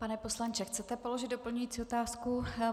Pane poslanče, chcete položit doplňující otázku?